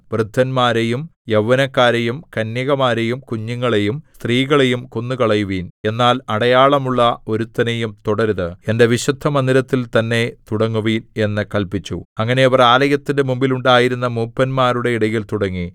വൃദ്ധന്മാരെയും യൗവനക്കാരെയും കന്യകമാരെയും കുഞ്ഞുങ്ങളെയും സ്ത്രീകളെയും കൊന്നുകളയുവിൻ എന്നാൽ അടയാളമുള്ള ഒരുത്തനെയും തൊടരുത് എന്റെ വിശുദ്ധമന്ദിരത്തിൽ തന്നെ തുടങ്ങുവിൻ എന്ന് കല്പിച്ചു അങ്ങനെ അവർ ആലയത്തിന്റെ മുമ്പിൽ ഉണ്ടായിരുന്ന മൂപ്പന്മാരുടെ ഇടയിൽ തുടങ്ങി